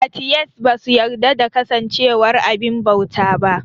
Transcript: Atiyest ba su yarda da kasancewar abin bauta ba